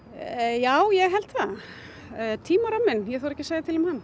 já ég held það tímaramminn ég þori ekki að segja til um hann